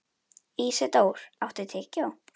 Ísidór, áttu tyggjó?